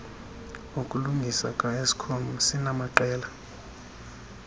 okulungisa kaeskom sinamaqela